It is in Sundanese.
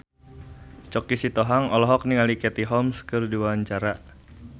Choky Sitohang olohok ningali Katie Holmes keur diwawancara